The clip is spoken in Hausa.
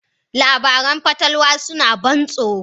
Labaran fatalwa suna ban tsoro.